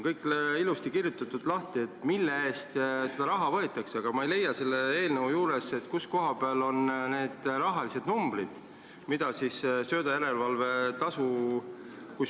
Kõik on ilusti lahti kirjutatud, mille eest seda raha võetakse, aga ma ei leia selle eelnõu juurest, kus koha peal on need rahalised numbrid, kui suur see söödajärelevalve tasu on.